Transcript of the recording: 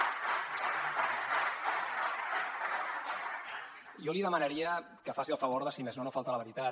jo li demanaria que faci el favor de si més no no faltar a la veritat